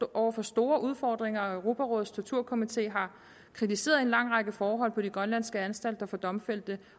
over for store udfordringer og europarådets torturkomité har kritiseret en lang række forhold på de grønlandske anstalter for domfældte